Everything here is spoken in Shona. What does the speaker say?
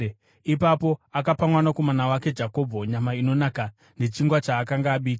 Ipapo akapa kumwanakomana wake Jakobho nyama inonaka nechingwa chaakanga abika.